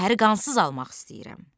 Şəhəri qansız almaq istəyirəm.